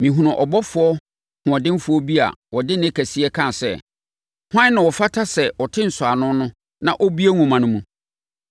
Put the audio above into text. Mehunuu ɔbɔfoɔ hoɔdenfoɔ bi a ɔde nne kɛseɛ kaa sɛ, “Hwan na ɔfata sɛ ɔte nsɔano no na ɔbue nwoma no mu?”